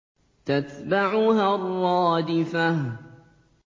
تَتْبَعُهَا الرَّادِفَةُ